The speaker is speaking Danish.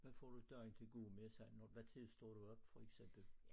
Hvad får du dagen til at gå med sådan hvad tid står du op for eksempel?